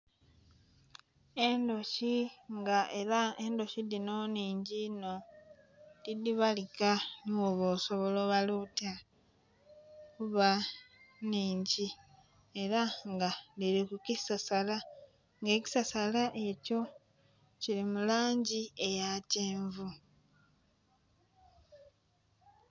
Endhuki nga era endhuki dhinho nnhigi inho tidhibalika nhibwoba osobola obala otya kuba nhingi era nga dhiri kukisasala nga ekisasala ekyo Kiri mulangyi eyakyenvu